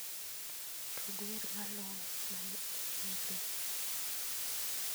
Tug wer maluwe mane oyierni